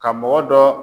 Ka mɔgɔ dɔ